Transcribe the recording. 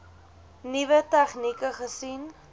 nuwe tegnieke gesien